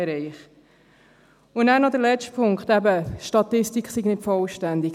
Dann noch zum letzten Punkt, eben, die Statistik sei nicht vollständig.